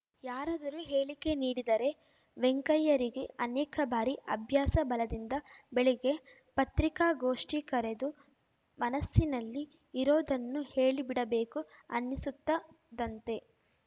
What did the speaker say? ಯಾರಾದರೂ ಹೇಳಿಕೆ ನೀಡಿದರೆ ವೆಂಕಯ್ಯರಿಗೆ ಅನೇಕ ಬಾರಿ ಅಭ್ಯಾಸ ಬಲದಿಂದ ಬೆಳಿಗ್ಗೆ ಪತ್ರಿಕಾಗೋಷ್ಠಿ ಕರೆದು ಮನಸ್ಸಿನಲ್ಲಿ ಇರೋದನ್ನು ಹೇಳಿಬಿಡಬೇಕು ಅನ್ನಿಸುತ್ತದಂತೆ